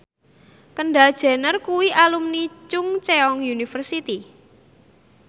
Kendall Jenner kuwi alumni Chungceong University